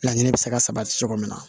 Laɲini bɛ se ka sabati cogo min na